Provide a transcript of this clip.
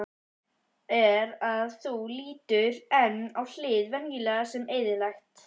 er að þú lítur enn á hið venjulega sem eðlilegt.